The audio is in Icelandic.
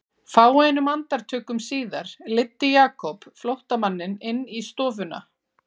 Fáeinum andartökum síðar leiddi Jakob flóttamanninn inn í stofuna.